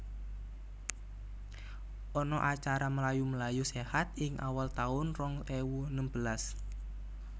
Ana acara mlayu mlayu sehat ing awal taun rong ewu nembelas